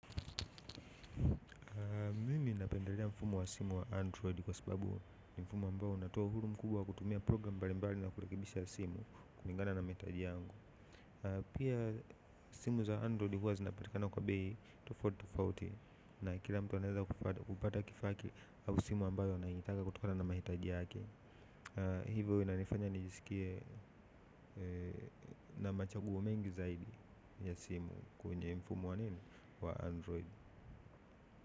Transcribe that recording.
Mimi napendelea mfumo wa simu wa android kwa sababu ni mfumo ambao unatoa uhuru mkubwa wa kutumia programu mbali mbali na kurekebisha simu kulingana na mahitaji yangu. Pia simu za android zinapatikana kwa bei tofauti tofauti na kila mtu anaweza kupata kifaa yake au simu anayohitaji kulingana na mahitaji yake. Hivyo inanifanya nijisikie na machaguo mengi zaidi ya simu kwenye mfumo wa nini wa android.